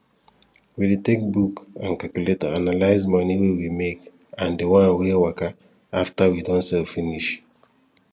we dey take book and calculator analyze moni wey we make and di wan wey waka after we don sell finish